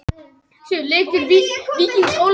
Yfirheyrslur halda áfram á morgun